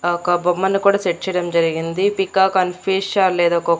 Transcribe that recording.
ఆ ఒక బొమ్మను కూడా సెట్ చేయడం జరిగింది పీకాక్ అండ్ ఫిష్ ఆర్ లేదా--